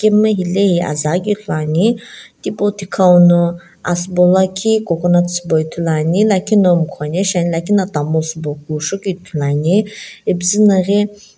emu hilae ye azu aghikeu ithuluane thiputhikaw no asii bo lakhi coconut shiibo ithulu ane lakhi na ikhonae shina lakhi la tamul shiibo kusho ithulu ane ipuzuno --